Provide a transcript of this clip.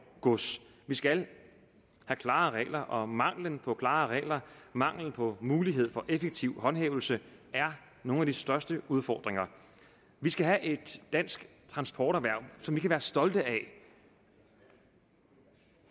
gods vi skal have klare regler og mangelen på klare regler mangelen på muligheden for effektiv håndhævelse er nogle af de største udfordringer vi skal have et dansk transporterhverv som vi kan være stolte af